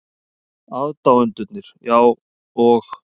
Aðdáendurnir, já, og?